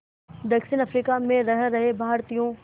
दक्षिण अफ्रीका में रह रहे भारतीयों